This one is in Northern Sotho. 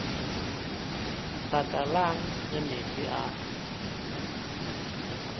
baka lang ge meetse a